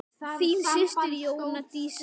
Þín systir Jóna Dísa.